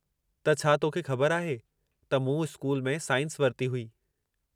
त छा तोखे ख़बर आहे त मूं स्कूल में साईंस वरिती हुई?